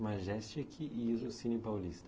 Majestic e o o Cine Paulista?